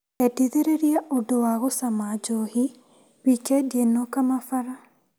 Endithĩrĩria ũndũ wa gũcama njohi wikendi ĩno Kamabara.